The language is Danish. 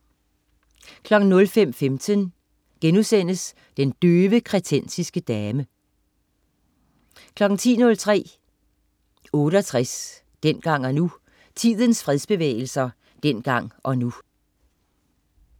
05.15 Den døve kretensiske dame* 10.03 68, dengang og nu. Tidens fredsbevægelser dengang og nu